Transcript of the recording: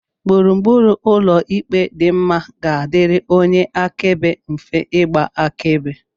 gburugburu ụlọ ikpe dị mma ga-adịrị onye akaebe mfe ịgba akaebe